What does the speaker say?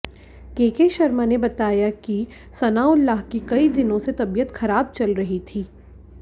केके शर्मा ने बताया कि सनाउल्लाह की कई दिनों से तबीयत खराब चल रही थी